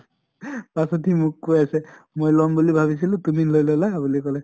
তাৰ পিছত সি মোক কৈ আছে মই লম বুলি ভাবিছিলো তুমি লৈ লʼলা বুলি কলে